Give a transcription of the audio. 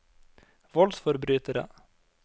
voldsforbrytere